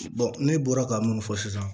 ne bɔra ka minnu fɔ sisan